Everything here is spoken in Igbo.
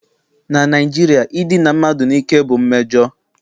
Na Naijiria idina mmadụ n'ike bụ mmejọ